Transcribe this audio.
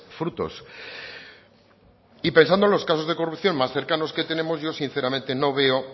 frutos y pensando en los casos de corrupción más cercanos que tenemos yo sinceramente no veo